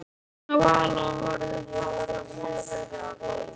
Stjáni og Vala horfðu fast á munstrið á gólfteppinu.